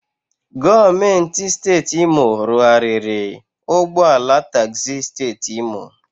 Gọọmenti siteeti Imo rụarịrị ụgbọala tagzi siteeti Imo.